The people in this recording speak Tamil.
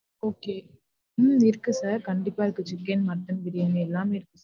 Okay உம் இருக்கு sir கண்டிப்பா இருக்கு சிக்கன், மட்டன் பிரியாணி எல்லாமே இருக்கு.